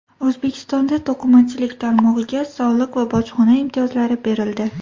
O‘zbekistonda to‘qimachilik tarmog‘iga soliq va bojxona imtiyozlari berildi.